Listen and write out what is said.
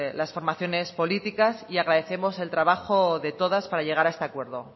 las formaciones políticas y agradecemos el trabajo de todas para llegar a este acuerdo